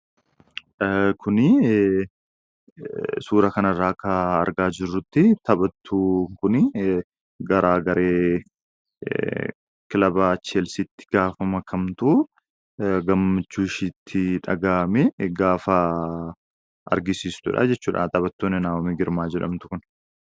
Kun suuraa kanarraa akka argaa jirrutti taphattuun kun gara garee kilaba 'Cheelsiitti' gaafa makamtu gammachuu isheetti dhagahmee gaafa argisiiftudha jechuudha. Taphattuun Naahoom Girmaa jedhamtu kun.